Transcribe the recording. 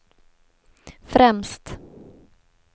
främst